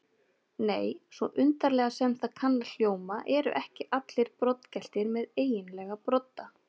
Nei, svo undarlega sem það kann að hljóma eru ekki allir broddgeltir með eiginlega brodda.